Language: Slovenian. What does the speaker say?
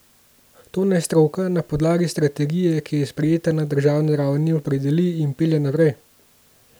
To naj stroka na podlagi strategije, ki je sprejeta na državni ravni, opredeli in pelje naprej.